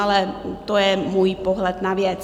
Ale to je můj pohled na věc.